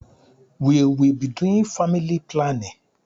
We will be doing family planning.